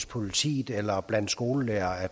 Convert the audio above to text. politiet eller blandt skolelærere at